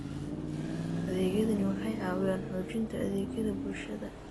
Adeegyadani waxay caawiyaan xoojinta adeegyada bulshada.